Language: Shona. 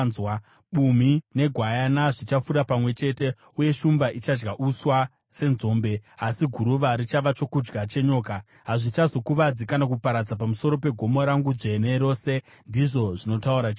Bumhi negwayana zvichafura pamwe chete, uye shumba ichadya uswa senzombe, asi guruva richava chokudya chenyoka. Hazvichazokuvadza kana kuparadza pamusoro pegomo rangu dzvene rose,” ndizvo zvinotaura Jehovha.